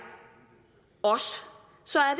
så er